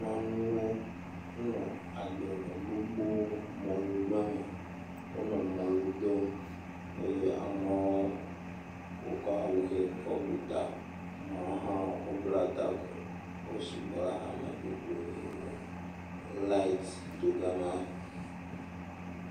Nyɔnuwo. Wole agblemɔ gbogbo, mɔlugble me. Wonɔ mɔlu dom eye amewo wokɔ awu ʋe kɔbu ta. Amewo hã wobla taku. Wo sugbɔ lɛɛ hame gbogboo. Laɛt do gama.